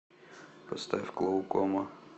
поставь клоукома